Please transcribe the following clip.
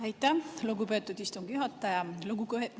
Aitäh, lugupeetud istungi juhataja!